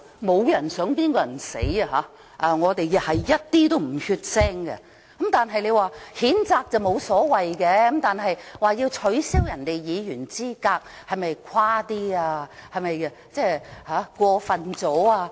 沒有人想別人死，我們一點都不血腥，但他們說譴責沒有所謂，要取消議員資格的話，是否太誇張，太過分？